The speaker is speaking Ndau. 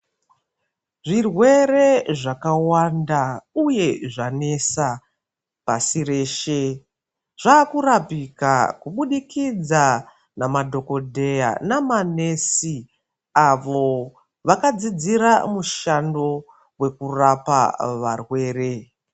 Zvirwere zvakawanda uye zvanesa, pashi reshe zvaakurapika kubudikidza namadhokoteya nama nesi avo vakadzidzira mushando wekurapa varwere.